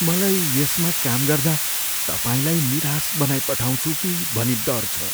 मलाई यसमा काम गर्दा तपाईँलाई निराश बनाइपठाउँछु कि भनी डर छ।